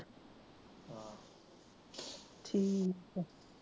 ਠੀਕ ਆ